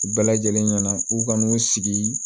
U bɛɛ lajɛlen ɲɛna u ka n'u sigi